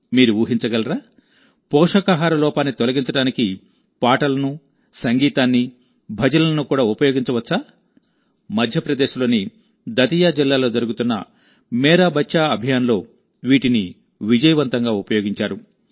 మీరు ఊహించగలారా పోషకాహార లోపాన్ని తొలగించడానికి పాటలను సంగీతాన్ని భజనలను కూడా ఉపయోగించవచ్చామధ్యప్రదేశ్లోని దతియా జిల్లాలో జరుగుతున్న మేరా బచ్చా అభియాన్లో వీటిని విజయవంతంగా ఉపయోగించారు